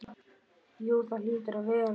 Jú það hlýtur að vera.